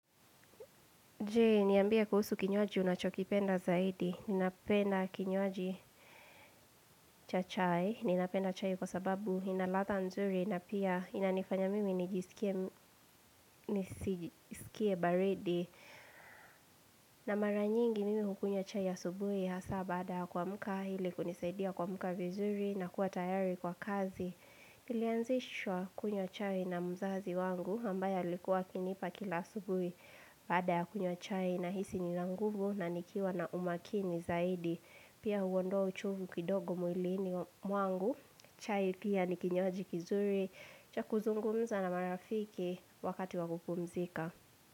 Je, niambie kuhusu kinywaji unachokipenda zaidi. Ninapenda kinywaji cha chai. Ninapenda chai kwa sababu inaladha nzuri na pia inanifanya mimi nijisikie baridi. Na maranyingi mimi hukunywa chai ya subuhi hasa baada ya kuamka hili kunisaidia kumuka vizuri na kuwa tayari kwa kazi. Ilianzishwa kunywa chai na mzazi wangu ambaye likuwa akinipa kila subuhi baada ya kunywa chai. Na hisi nina nguvu na nikiwa na umakini zaidi Pia huwondoa uchovu kidogo mwilini mwangu chai pia nikinywaji kizuri Chakuzungumza na marafiki wakati wakupumzika.